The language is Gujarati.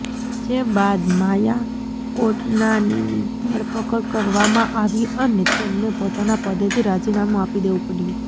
જે બાદ માયા કોડનાનીની ધરપકડ કરવામાં આવી અને તેમણે પોતાના પદેથી રાજીનામું આપી દેવું પડ્યું